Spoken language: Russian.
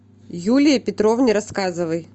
юлии петровне рассказовой